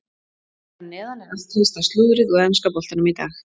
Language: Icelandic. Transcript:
Hér að neðan er allt helsta slúðrið úr enska boltanum í dag.